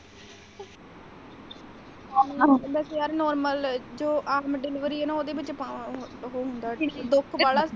ਜਿਹੜਾ normal ਆਮ delivery ਹੈ ਨਾ ਉਹਦੇ ਵਿੱਚ ਅਹ ਉਹ ਅਹ ਹੁੰਦਾ ਦੁਖ ਬੜਾ।